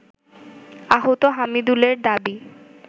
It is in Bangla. আহত হামিদুলের দাবি